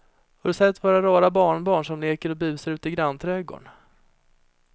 Har du sett våra rara barnbarn som leker och busar ute i grannträdgården!